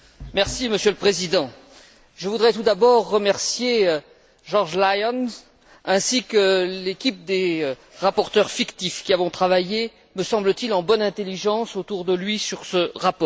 Monsieur le Président, je voudrais tout d'abord remercier George Lyon, ainsi que l'équipe des rapporteurs fictifs qui ont travaillé, me semble t il, en bonne intelligence autour de lui sur ce rapport.